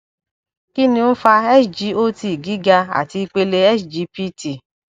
kí ni ó ń fa sgot giga àti ipele sgpt